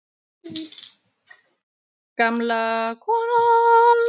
Gamla konan er farin.